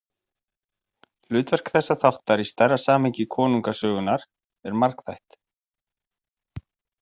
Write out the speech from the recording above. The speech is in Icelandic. Hlutverk þessa þáttar í stærra samhengi konungasögunnar er margþætt.